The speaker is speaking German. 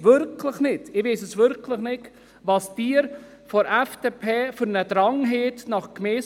Ich verstehe den Drang der FDP nach Gemeindefusionen wirklich nicht.